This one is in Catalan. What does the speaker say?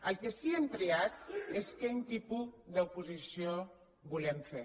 el que sí que hem triat és quin tipus d’oposició volem fer